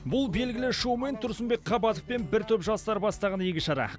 бұл белгілі шоумен тұрсынбек қабатов пен бір топ жастар бастаған игі шара